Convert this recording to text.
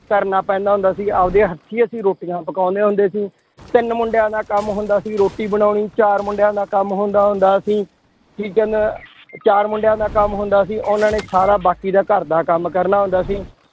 ਕਰਨਾ ਪੈਂਦਾ ਹੁੰਦਾ ਸੀ, ਆਪਦੇ ਹੱਥੀਂ ਅਸੀਂ ਰੋਟੀਆਂ ਪਕਾਉਂਦੇ ਹੁੰਦੇ ਸੀ, ਤਿੰਨ ਮੁੰਡਿਆਂ ਦਾ ਕੰਮ ਹੁੰਦਾ ਸੀ, ਰੋਟੀ ਬਣਾਉਣੀ, ਚਾਰ ਮੁੰਡਿਆਂ ਦਾ ਕੰਮ ਹੁੰਦਾ ਹੁੰਦਾ ਸੀ, ਠੀਕ ਹੈ ਨਾ, ਚਾਰ ਮੁੰਡਿਆਂ ਦਾ ਕੰਮ ਹੁੰਦਾ ਸੀ ਉਹਨਾਂ ਨੇ ਸਾਰਾ ਬਾਕੀ ਦਾ ਘਰਦਾ ਕੰਮ ਕਰਨਾ ਹੁੰਦਾ ਸੀ